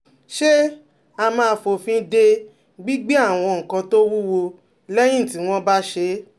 Ṣé a máa fòfin de gbígbé àwọn nǹkan tó wúwo lẹ́yìn tí wọ́n bá ṣẹ́?